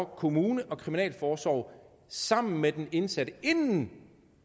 kommune og kriminalforsorg sammen med den indsatte inden